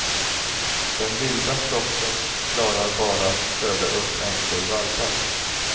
Den vilda flocken klarar bara att föda upp en kull valpar.